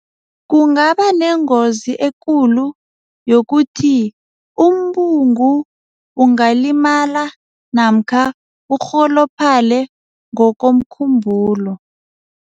Kungaba nengozi ekulu yokuthi umbungu ungalimala namkha urholophale ngokomkhumbulo.